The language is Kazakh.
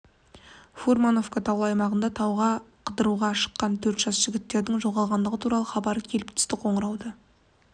фурмановка таулы аймағындағы тауға қыдыруға шыққан төрт жас жігіттердің жоғалғандығы туралы хабар келіп түсті қоңырауды